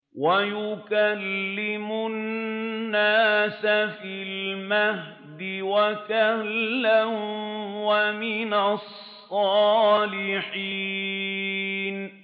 وَيُكَلِّمُ النَّاسَ فِي الْمَهْدِ وَكَهْلًا وَمِنَ الصَّالِحِينَ